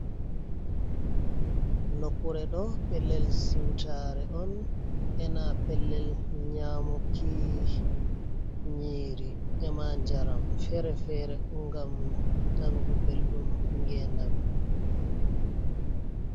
Nokure ɗo pellel siutare on ena pellel nyamuki nyiri enanjaram fere-fere gam nanugo belɗun genami.